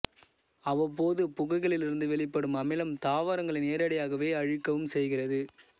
அவ்வப்போது புகைகளிலிருந்து வெளிப்படும் அமிலம் தாவரங்களை நேரடியாகவே அழிக்கவும் செய்கிறது